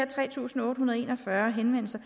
tre tusind otte hundrede og en og fyrre henvendelser